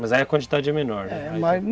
Mas aí a quantidade é menor, né? É.